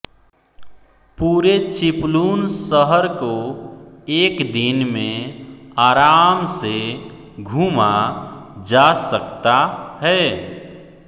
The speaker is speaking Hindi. पूरे चिपलुन शहर को एक दिन में आराम से घूमा जा सकता है